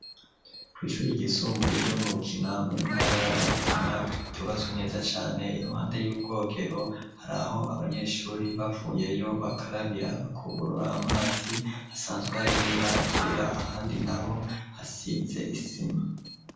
Kw'ishuri gisumbuye ryo mu ntara yarutana ryubatswe neza cane i ruhande y'ubwogero hari aho abanyeshuri bavuyeyo bakarabira bakugurura amazi hasanzwe harimibaragera ahandi na ho hasize isima.